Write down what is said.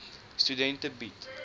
studente bied